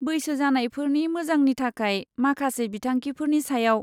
बैसो जानायफोरनि मोजांनि थाखाय माखासे बिंथांखिफोरनि सायाव।